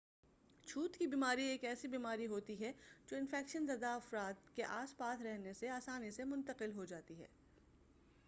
چھوت کی بیماری ایک ایسی بیماری ہوتی ہے جو انفیکشن زدہ فرد کے آس پاس رہنے سے آسانی سے منتقل ہو جاتی ہے